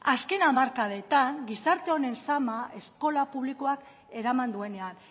azken hamarkadetan gizarte honen sama eskola publikoak eraman duenean